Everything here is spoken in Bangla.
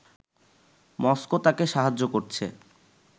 মস্কো তাকে সাহায্য করছে